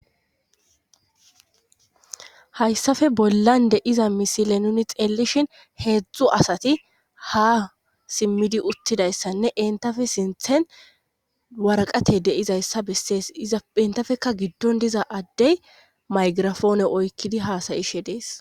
hayssafe bollande iza misile nuni xeelishin heedzdzu asati ha simmidi uttidayssanne entafe sinthen warqate deizayssa bessees iza entafeka giddon diza addey maygirafoone oykkidi haasayishe dees